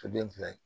To den fila ye